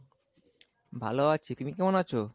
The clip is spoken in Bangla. ভালো আছি, তুমি কেমন আছো?